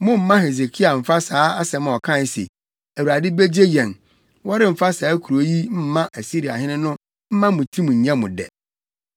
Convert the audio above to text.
Mommma Hesekia mfa saa asɛm a ɔkae se, ‘ Awurade begye yɛn! Wɔremfa saa kurow yi mma Asiriahene’ no mma mo tirim nyɛ mo dɛ.